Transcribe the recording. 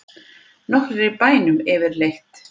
Nokkur í bænum yfirleitt?